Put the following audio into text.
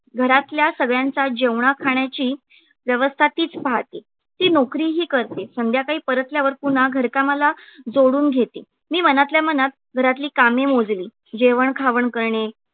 घरातल्या सगळ्यांचा जेवणा खाण्याची व्यवस्था तीच पाहते. ती नोकरीही करते. संध्याकाळी परतल्यावर पुन्हा घर कामाला जोडून घेते. मी मनातल्या मनात घरातली कामे मोजली जेवण खावण करणे